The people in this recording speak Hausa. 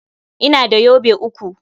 Ina da yobe uku.